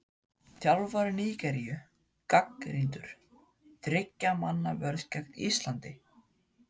Þjálfari Nígeríu gagnrýndur- Þriggja manna vörn gegn Íslandi?